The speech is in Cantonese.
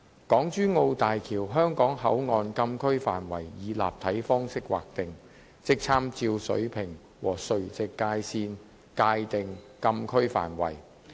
港珠澳大橋香港口岸禁區範圍以立體方式劃定，即參照水平和垂直界線界定禁區範圍。